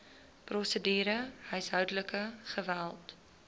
prosedure huishoudelike geweld